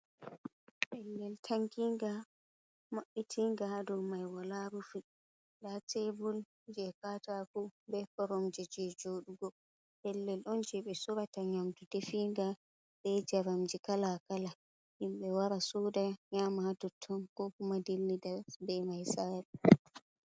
Pellel tankinga maɓɓitinga haɗu mai wala rufi ɗa tebur je kataku ɓe koromje je jodugo pellel ɗon je ɓe surata nyamdu ɗefinga ɓe jamamji kalakala himɓe wara suɗa nyamaa ha tutton ko kuma dilli ɗa ɓe mai sare.